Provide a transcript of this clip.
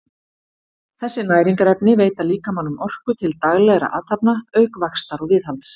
þessi næringarefni veita líkamanum orku til daglegra athafna auk vaxtar og viðhalds